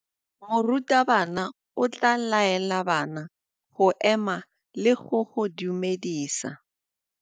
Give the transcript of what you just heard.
Morutabana o tla laela bana go ema le go go dumedisa.